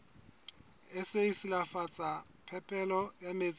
sa silafatsa phepelo ya metsi